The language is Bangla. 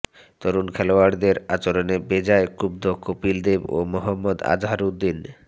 তরুণ খেলোয়াড়দের আচরণে বেজায় ক্ষুব্ধ কপিল দেব ও মহম্মদ আজহারউদ্দিন